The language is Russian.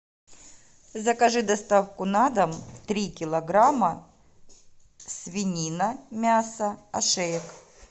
закажи доставку на дом три килограмма свинина мясо ошеек